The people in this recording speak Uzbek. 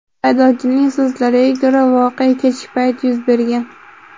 Haydovchining so‘zlariga ko‘ra, voqea kechki payt yuz bergan.